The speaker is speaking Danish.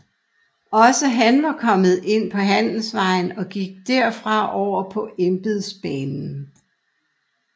Også var han kommet ind på handelsvejen og gik der fra over på embedsbanen